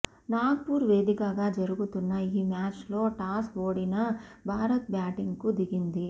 Nag poor వేదికగా జరుగుతున్న ఈ మ్యాచ్ లో టాస్ ఓడిన భారత్ బ్యాటింగ్ కు దిగింది